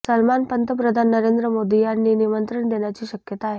सलमान पंतप्रधान नरेंद्र मोदी यांनी निमंत्रण देण्याची शक्यता आहे